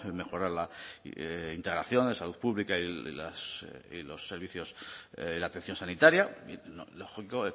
mejora la integración de salud pública y los servicios y la atención sanitaria y lo lógico